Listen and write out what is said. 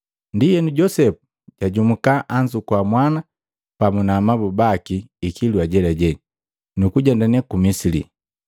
Ndienu, Josepu jajumuka, anzukua mwana pamu na amabu baki ikilu ajelaje, nukujendane ku Misili.